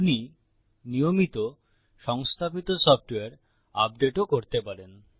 আপনি নিয়মিত সংস্থাপিত সফ্টওয়্যার আপডেটও করতে পারেন